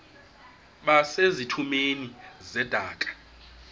base zitulmeni zedaka